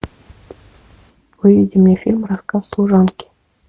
выведи мне фильм рассказ служанки